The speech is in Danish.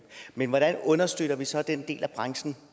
men hvordan understøtter vi så den del af branchen